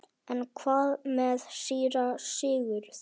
En hvað með síra Sigurð?